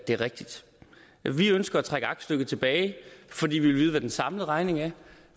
det rigtigt vi ønsker at trække aktstykket tilbage fordi vi vil vide hvad den samlede regning er og